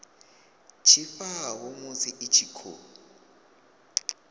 tshifhao musi i tshi khou